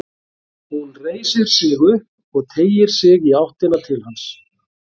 Hún reisir sig upp og teygir sig í áttina til hans.